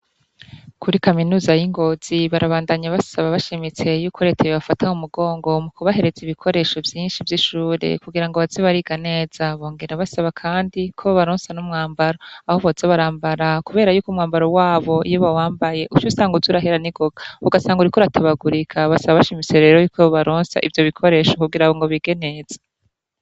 Kuri kaminuza y'i Ngozi barabandanya basaba bashimitse yuko reta yobafata mu mugongo mu kubahereza ibikoresho vyinshi vy'ishure kugira ngo baze bariga neza, bongera basaba kandi ko bobaronsa n'umwambaro aho boza barambara kubera yuko umwambaro wabo iyo bawambaye uca usanga uza urahera ningoga ugasanga uriko uratabagurika, basaba bashimitse rero yuko bobaronsa ivyo bikoresha kugira ngo bige neza.